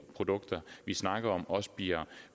produkter vi snakker om også bliver